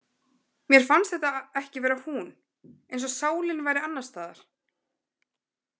Mér fannst þetta ekki vera hún, eins og sálin væri annarstaðar.